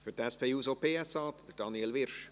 Für die SP-JUSO-PSA-Fraktion, Daniel Wyrsch.